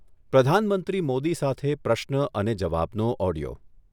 પ્રધાનમંત્રી મોદી સાથે પ્રશ્ન અને જવાબનો ઓડિઓ